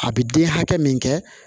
A bɛ den hakɛ min kɛ